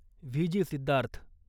VJ Siddharth